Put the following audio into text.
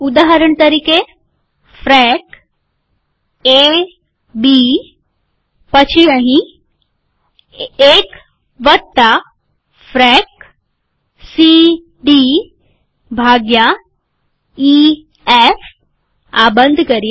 ઉદાહરણ તરીકે ફ્રેક એબી પછી અહીં ૧ફ્રેક સીડી ભાગ્યા ઈએફઆ બંધ કરીએ